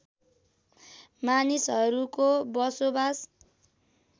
मानिसहरूको बसोबास